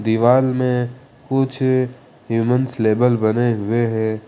दीवाल में कुछ ह्यूमन्स लेबल बने हुए हैं।